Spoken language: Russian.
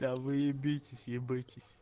да вы ебитесь ебитесь